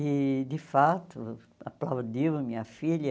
E, de fato, aplaudiu minha filha.